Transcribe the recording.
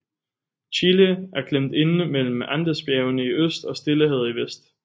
Chile er klemt inde mellem Andesbjergene i øst og Stillehavet i vest